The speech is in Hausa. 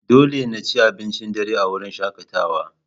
Dole na ci abincin dare a wurin shakatawa.